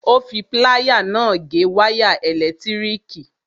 Ó fi pláyà náà gé wáyà ẹ̀lẹ̀tíríkì.